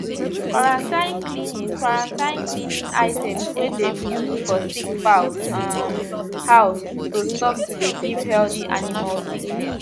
quarantine cleaning quarantine cleaning items wey dem used for sick fowl um house to stop to de give healthy animal sickness